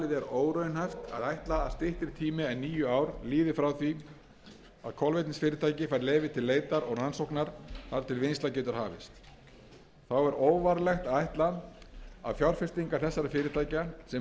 óraunhæft að ætla að styttri tími en níu ár líði frá því kolvetnisvinnslufyrirtæki fær leyfi til leitar og rannsóknar þar til vinnsla getur hafist þá er óvarlegt að ætla að fjárfestingar þessara fyrirtækja sem eru í eðli sínu langtímafjárfestingar